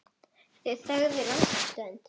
Þau þögðu langa stund.